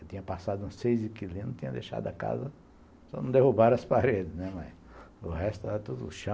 Eu tinha passado uns seis inquilinos e tinha deixado a casa, só não derrubaram as paredes, o resto era tudo chão.